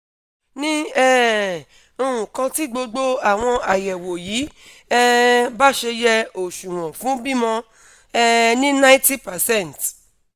ní um nǹkan tí gbogbo àwọn ayẹ̀wò yìí um bá ṣe yẹ òṣuwọn fún bímọ um ní ninety percent